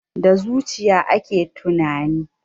Da zuciya ake tunani.